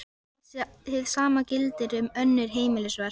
Hið sama gildir um önnur heimilisverk.